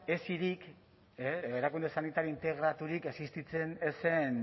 esirik edo erakunde sanitario integraturik existitzen ez zen